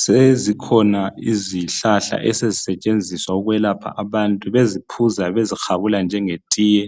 Sezikhona izihlahla esezisetshenziswa ukwelapha abantu bezinatha bezihabula njenge tiye